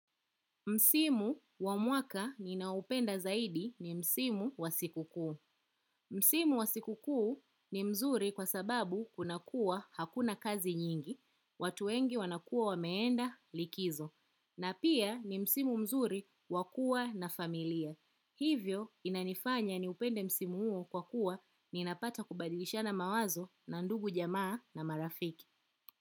Msimu wa mwaka ninaoupenda zaidi ni msimu wa siku kuu. Msimu wa siku kuu ni mzuri kwa sababu kuna kuwa hakuna kazi nyingi, watu wengi wanakuwa wameenda likizo. Na pia ni msimu mzuri wakuwa na familia. Hivyo inanifanya ni upende msimu huo kwa kuwa ninapata kubadilishana mawazo na ndugu jamaa na marafiki.